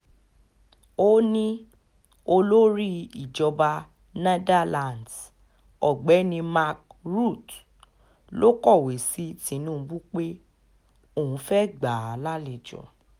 ó ní olórí ìjọba netherlands ọ̀gbẹ́ni mark rutte ló kọ̀wé sí tinubu pé òun fẹ́ẹ́ gbà á lálejò